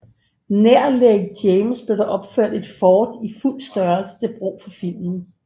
Nær Lake James blev der opført et fort i fuld størrelse til brug for filmen